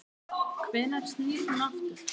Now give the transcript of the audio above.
Hvenær snýr hún aftur?